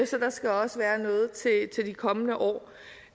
så der skal også være noget til de kommende år